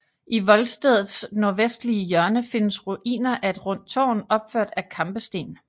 I voldstedets nordvestlige hjørne findes ruiner af et rundt tårn opført af kampesten